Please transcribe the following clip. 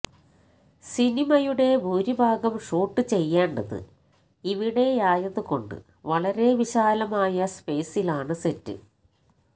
സിനിമയുടെ ഭൂരിഭാഗം ഷൂട്ട് ചെയ്യേണ്ടത് ഇവിടെയായതുകൊണ്ട് വളരെ വിശാലമായ സ്പെയ്സിലാണ് സെറ്റ്